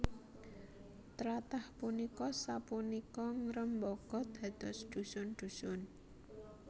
Tlathah punika sapunika ngrembaka dados dhusun dhusun